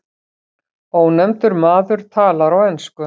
Ónefndur maður talar á ensku.